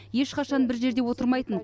ешқашан бір жерде отырмайтын